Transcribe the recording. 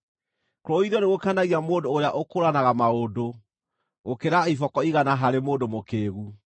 Kũrũithio nĩgũkenagia mũndũ ũrĩa ũkũũranaga maũndũ gũkĩra iboko igana harĩ mũndũ mũkĩĩgu.